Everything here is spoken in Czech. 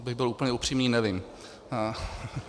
Abych byl úplně upřímný, nevím.